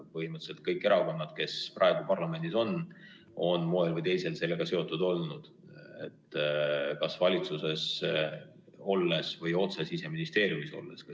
Põhimõtteliselt kõik erakonnad, kes praegu parlamendis on, on moel või teisel sellega seotud olnud, kas valitsuses olles või otse Siseministeeriumis olles.